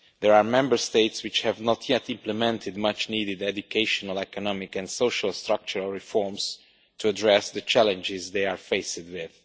There are Member States which have not yet implemented much needed educational, economic and social structural reforms to address the challenges they are faced with.